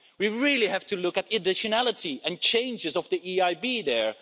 We really have to look at additionality and changes of the EIB there.